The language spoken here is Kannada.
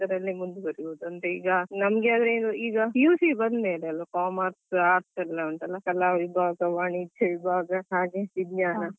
ಈಗ PUC ಬಂದ್ಮೇಲೆ ಅಲಾ Commerce Arts ಎಲ್ಲ ಉಂಟಲ್ಲ ಕಲಾ ವಿಭಾಗ ವಾಣಿಜ್ಯ ವಿಭಾಗ ಹಾಗೆ ವಿಜ್ಞಾನ ವಿಭಾಗ.